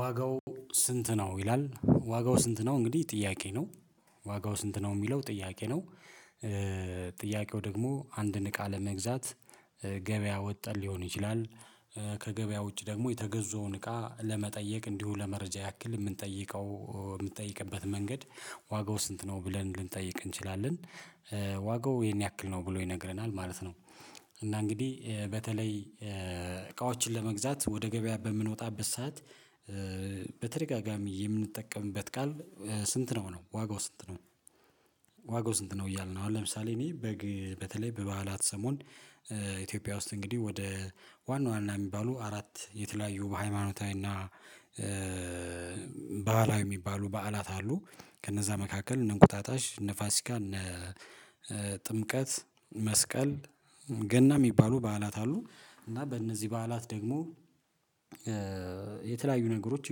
ዋጋው ስንት ነው ይላል? ዋጋው ስንት ነው? እንግዲህ ጥያቄ ነው። ዋጋው ስንት ነው? የሚለው ጥያቄ ነው። ጥያቄው ደግሞ አንድን እቃ ለመግዛት ገበያ ወጠን ሊሆን ይችላል ከገበያ ውጪ ደግሞ የተገዙወን እቃ ለመጠየቅ እንዲሁ ለመረጃ ያክል የምንጠይቀው የምንጠይቅበት መንገድ ዋጋው ስንት ነው? ብለን ልንጠይቅ እንችላለን። ዋጋው ይሄን ያክል ነው ብሎ ይነግረናል ማለት ነው። እና እንግዲህ በተለይ እቃዎችን ለመግዛት ወደ ገበያ በምንወጣበት ሰዓት በተደጋጋሚ የምንጠቀምበት ቃል ስንት ነው ነው? ዋጋው ስንት ነው? ዋጋው ስንት ነው? እያልን ነው። አሁን ለምሳሌ እኔ በግ በተለይ በበዓላት ሰሞን ኢትዮጵያ ውስጥ እንግዲህ ወደ ዋና ዋና የሚባሉ አራት የተለያዩ በሃይማኖታዊና በዓላዊ የሚባሉ በዓላት አሉ። ከነዛ መካከል እነ እንቁጣጣሽ፤ እነ ፋሲካ፤ እነ ጥምቀት፤ መስቀል ገና የሚባሉ በዓላት አሉ። እና በእነዚህ በዓላት ደግሞ የተለያዩ ነገሮች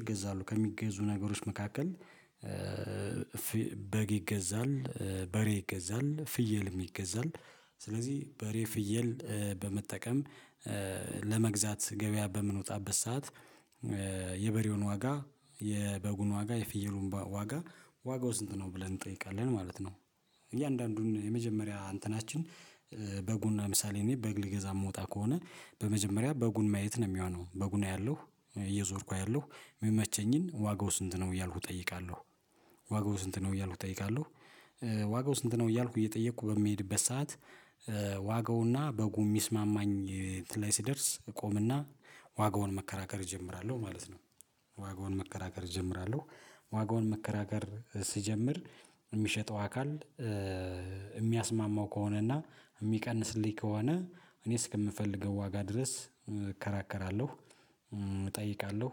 ይገዛሉ። ከሚገዙ ነገሮች መካከል በግ ይገዛል፤ በሬ ይገዛል ፍየልም ይገዛል ስለዚህ በሬ፥ ፍየል በመጠቀም ለመግዛት ገበያ በምንወጣበት ሰዓት የበሬውን ዋጋ፤ የበጉን ዋጋ፤ የፍየሉን ዋጋ ዋጋው ስንት ነው? ብለን እንጠይቃለን ማለት ነው። እያንዳንዱን የመጀመሪያ እንትናችን በጉን ለምሳሌ እኔ በግ ልገዛ የምወጣ ከሆነ በመጀመሪያ በጉን ማየት ነው የሚሆነው። በጉን አያለው እየዞርኩ አያለው። ሚመቸኝን ዋጋው ስንት ነው? እያልኩ እጠይቃለሁ። ዋጋው ስንት ነው? እያልኩ እጠይቃለሁ። ዋጋው ስንት ነው? እያልኩ እየጠየኩ በሚሄድበት ሰዓት ዋጋውና በጉም ሚስማማኝ እንትን ላይ ስደርስ እቆምና ዋጋውን መከራከር እጀምራለው ማለት ነው። ዋጋውን መከራከር እጀምራለው። ዋጋውን መከራከር ስጀምር የሚሸጠው አካል የሚያስማማው ከሆነና የሚቀንስልኝ ከሆነ እኔ እስከምፈልገው ዋጋ ድረስ እከራከራለሁ እጠይቃለሁ።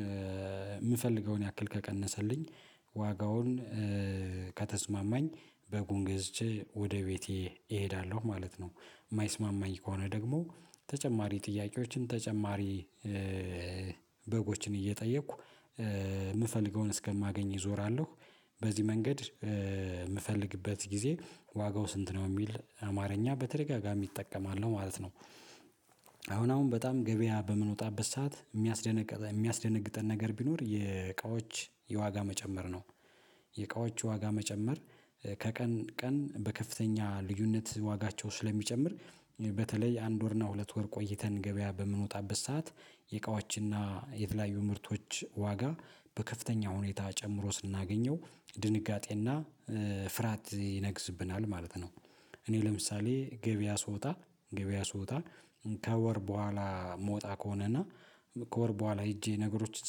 የምፈልገውን ያክል ከቀነሰልኝ ዋጋውን ከተስማማኝ በጉን ገዝቼ ወደ ቤቴ እሄዳለሁ ማለት ነው። የማይስማማኝ ከሆነ ደግሞ ተጨማሪ ጥያቄዎችን ተጨማሪ በጎችን እየጠየኩ የምፈልገውን እስከማገኝ እዞራለሁ። በዚህ መንገድ የምፈልግበት ጊዜ ዋጋው ስንት ነው? የሚል አማርኛ በተደጋጋሚ እጠቀማለሁ ማለት ነው አሁን አሁን በጣም ገበያ በምንወጣበት ሰዓት የሚያስደነግጠ የሚያስደነግጥን ነገር ቢኖር የእቃዎች የዋጋ መጨመር ነው። የእቃዎች ዋጋ መጨመር ከቀን ቀን በከፍተኛ ልዩነት ዋጋቸው ስለሚጨምር በተለይ አንድ ወር እና ሁለት ወር ቆይተን ገበያ በምንወጣበት ሰዓት የዕቃዎችና የተለያዩ ምርቶች ዋጋ በከፍተኛ ሁኔታ ጨምሮ ስናገኘው ድንጋጤና ፍርሃት ይነግስብናል ማለት ነው። እኔ ለምሳሌ- ገበያ ስወጣ ገበያ ስወጣ ከወር በኋላ የምወጣ ከሆነና ከወር በኋላ ሄጄ ነገሮችን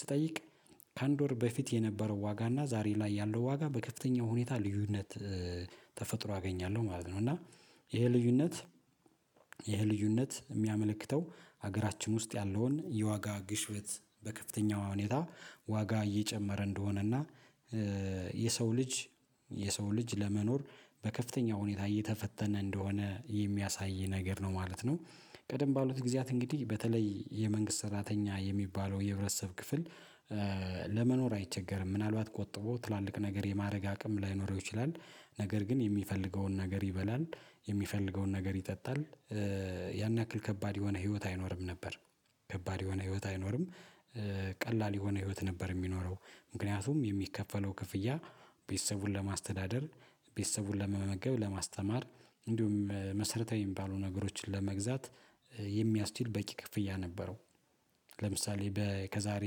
ስትጠይቅ ከአንድ ወር በፊት የነበረው ዋጋ እና ዛሬ ላይ ያለው ዋጋ በከፍተኛው ሁኔታ ልዩነት ተፈጥሮ አገኛለሁ ማለት ነው። እና ይሄ ልዩነት ይሄ ልዩነት የሚያመለክተው ሀገራችን ውስጥ ያለውን የዋጋ ግሽበት በከፍተኛው ሁኔታ ዋጋ እየጨመረ እንደሆነና የሰው ልጅ የሰው ልጅ ለመኖር በከፍተኛ ሁኔታ እየተፈተነ እንደሆነ የሚያሳይ ነገር ነው ማለት ነው። ቀደም ባሉት ጊዜያት እንግዲህ በተለይ የመንግስት ሰራተኛ የሚባለው የህብረተሰብ ክፍል ለመኖር አይቸገርም። ምናልባት ቆጥቦ ትላልቅ ነገር የማድረግ አቅም ላይኖረው ይችላል ነገር ግን የሚፈልገውን ነገር ይበላል፤ የሚፈልገውን ነገር ይጠጣል ያን ያክል ከባድ የሆነ ህይወት አይኖርም ነበር፤ ከባድ የሆነ ህይወት አይኖርም። ቀላል የሆነ ህይወት ነበር የሚኖረው። ምክንያቱም የሚከፈለው ክፍያ ቤተሰቡን ለማስተዳደር፤ ቤተሰቡን ለመመገብ፤ ለማስተማር እንዲሁም መሰረታዊ የሚባሉ ነገሮችን ለመግዛት የሚያስችል በቂ ክፍያ ነበረው። ለምሳሌ በ ከዛሬ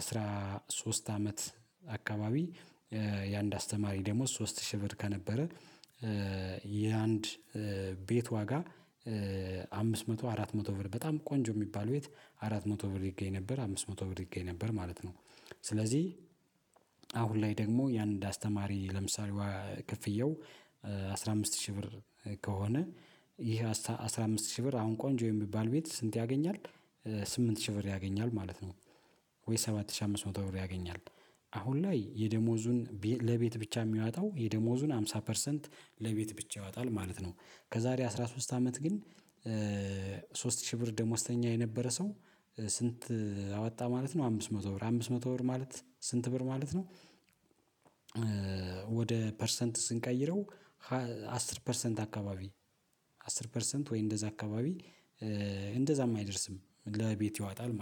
አስራ ሶስት አመት አካባቢ የአንድ አስተማሪ ደሞዝ ሶስት ሺህ ብር ከነበረ የአንድ ቤት ዋጋ አምስት መቶ፥ አራት መቶ ብር በጣም ቆንጆ የሚባል ቤት አራት መቶ ብር ይገኝ ነበር፤ አምስት መቶ ብር ይገኝ ነበር ማለት ነው። ስለዚህ ላይ ደግሞ ያንድ አስተማሪ ለምሳሌ ክፍያው አስራ አምስት ሺህ ብር ከሆነ ይህ አስራ አምስት ሺህ ብር አሁን ቆንጆ የሚባል ቤት ስንት ያገኛል ስምንት ሺህ ብር ያገኛል ማለት ነው፤ ወይ ሰባት ሺህ አምስት መቶ ብር ያገኛል። አሁን ላይ የደሞዙን ለቤት ብቻ የሚያወጣው የደሞዙን ሃምሳ ፐርሰንት ለቤት ብቻ ያወጣል ማለት ነው። ከዛሬ አስራ ሶስት አመት ግን ሶስት ሺህ ብር ደሞዝተኛ የነበረ ሰው ስንት አወጣ ማለት ነው አምስት መቶ ብር። አምስት መቶ ብር ማለት ስንት ብር ማለት ነው ወደ ፐርሰንት ስንቀይረው አስር ፐርሰንት አካባቢ፤ አስር ፐርሰንት ወይ እንደዛ አካባቢ እንደዛም አይደርስም፥ ለቤቱ ያወጣል ማለት ነው።